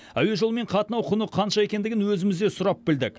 әуежолымен қатынау құны қанша екендігін өзіміз де сұрап білдік